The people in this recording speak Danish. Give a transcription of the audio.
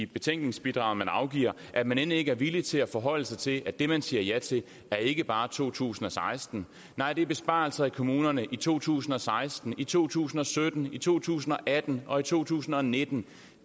betænkningsbidrag man afgiver at man end ikke er villig til at forholde sig til at det man siger ja til ikke bare er to tusind og seksten nej det besparelser i kommunerne i to tusind og seksten i to tusind og sytten i to tusind og atten og i to tusind og nitten